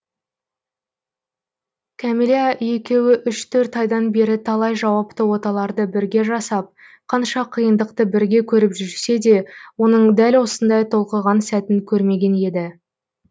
кәмилә екеуі үш төрт айдан бері талай жауапты оталарды бірге жасап қанша қиындықты бірге көріп жүрсе де оның дәл осындай толқыған сәтін көрмеген еді